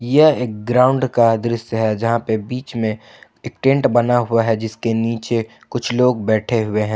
यह एक ग्राउंड का दृश्य है जहां पे बीच में एक टेंट बना हुआ है जिसके नीचे कुछ लोग बैठे हुए हैं।